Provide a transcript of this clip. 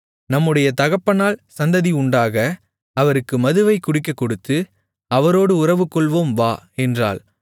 நம்முடைய தகப்பனால் சந்ததி உண்டாக அவருக்கு மதுவைக் குடிக்கக்கொடுத்து அவரோடு உறவுகொள்வோம் வா என்றாள்